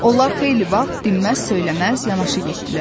Onlar xeyli vaxt dinməz söyləməz yanaşı getdilər.